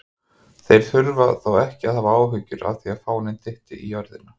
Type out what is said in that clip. Þeir þurftu þó ekki að hafa áhyggjur af því að fáninn dytti á jörðina!